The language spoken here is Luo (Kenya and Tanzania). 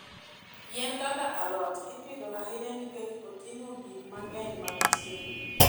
Yien kaka alot ipidho ahinya nikech oting'o gik mang'eny mag chiemo.